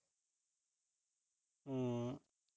ਹੂੰ।